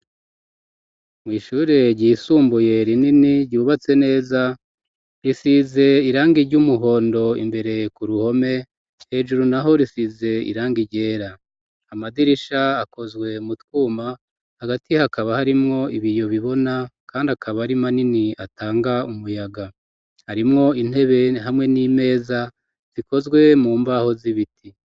Mw' ishure ryisumbuye rinini, ryubatse neza, risize iranga iry'umuhondo imbere ku ruhome, hejuru naho risize irangi ryera, amadirisha akozwe mu twuma, hagati hakaba harimwo ibiyo bibona, kandi akaba ari manini atanga umuyaga ,harimwo intebe hamwe n'imeza, zikozwe mu mbaho z'ibiti.